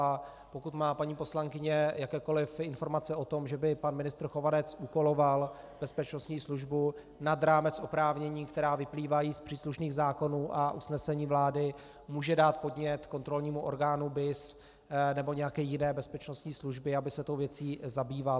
A pokud má paní poslankyně jakékoliv informace o tom, že by pan ministr Chovanec úkoloval bezpečnostní službu nad rámec oprávnění, která vyplývají z příslušných zákonů a usnesení vlády, může dát podnět kontrolnímu orgánu BIS nebo nějaké jiné bezpečnostní službě, aby se tou věcí zabýval.